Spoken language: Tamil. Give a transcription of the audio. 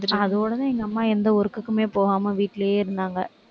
அதோடதான் எங்க அம்மா எந்த work க்குமே போகாம வீட்டிலேயே இருந்தாங்க.